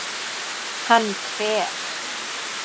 Hann fer